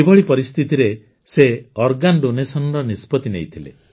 କିଭଳି ପରିସ୍ଥିତିରେ ସେ ଅଙ୍ଗଦାନ ର ନିଷ୍ପତି ନେଇଥିଲେ